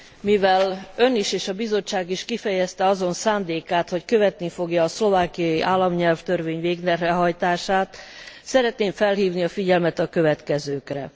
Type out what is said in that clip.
Mivel Ön is és a Bizottság is kifejezte azon szándékát, hogy követni fogja a szlovákiai államnyelvtörvény végrehajtását, szeretném felhívni a figyelmet a következőkre.